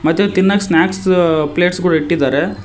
ಮತ್ತು ತಿನ್ನಕ್ snacks plates ಕೂಡ ಇಟ್ಟಿದಾರೆ.